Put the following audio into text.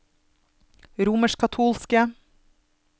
romerskkatolske